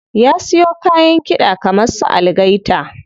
Zai siyo kayan kiɗa kaman su algaita.